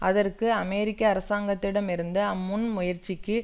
அதற்கு அமெரிக்க அரசாங்கத்திடம் இருந்து அம்முன் முயற்சிக்கு